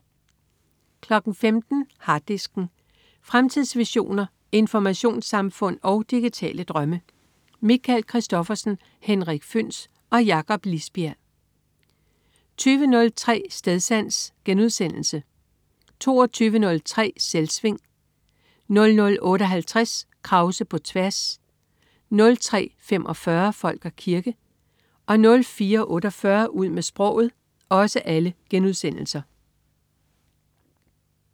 15.00 Harddisken. Fremtidsvisioner, informationssamfund og digitale drømme. Michael Christophersen, Henrik Føhns og Jakob Lisbjerg 20.03 Stedsans* 22.03 Selvsving* 00.58 Krause på tværs* 03.45 Folk og kirke* 04.48 Ud med sproget*